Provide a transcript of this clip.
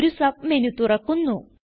ഒരു സബ്മെനു തുറക്കുന്നു